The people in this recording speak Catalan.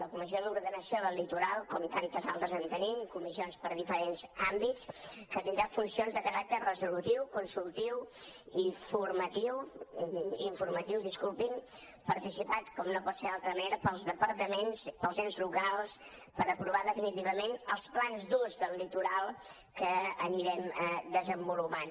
la comissió d’ordenació del litoral com tantes altres en tenim de comissions per a diferents àmbits que tindrà funcions de caràcter resolutiu consultiu i informatiu participat com no pot ser d’altra manera pels departaments pels ens locals per aprovar definitivament els plans d’ús del litoral que anirem desenvolupant